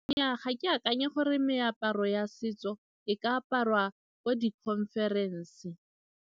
Nnyaa, ga ke akanya gore meaparo ya setso e ka aparwa ko di-conference.